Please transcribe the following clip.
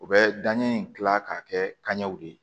U bɛ danɲɛ in dilan k'a kɛ kanɲɛw de ye